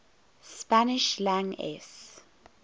spanish lang es